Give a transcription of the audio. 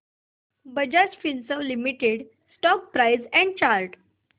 Bajaj Finserv limited stock price and chart